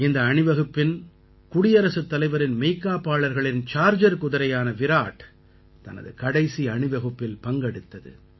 இந்த அணிவகுப்பின் குடியரசுத் தலைவரின் மெய்க்காப்பாளர்களின் சார்ஜர் குதிரையான விராட் தனது கடைசி அணிவகுப்பில் பங்கெடுத்தது